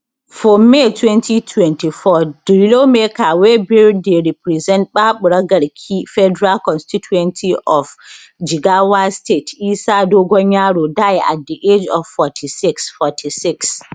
for may 2024 di lawmaker wey bin dey represent baburagarki federal constituency of jigawa state isa dogonyaro die at di age of 46 46